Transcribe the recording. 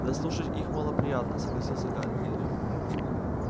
да слушать их малоприятно согласился гарри генри